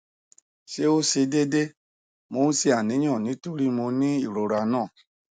se o se deede mo n se aniyan nitori mo ni irora na